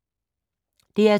DR2